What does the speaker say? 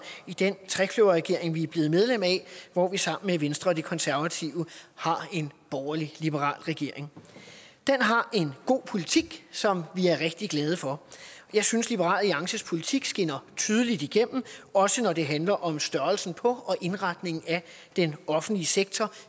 i den trekløverregering vi er blevet medlem af hvor vi sammen med venstre og de konservative har en borgerlig liberal regering den har en god politik som vi er rigtig glade for jeg synes liberal alliances politik skinner tydeligt igennem også når det handler om størrelsen på og indretningen af den offentlige sektor